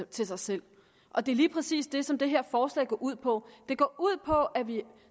til sig selv og det er lige præcis det som det her forslag går ud på det går ud på at vi